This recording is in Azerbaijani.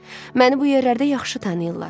Məni bu yerlərdə yaxşı tanıyırlar.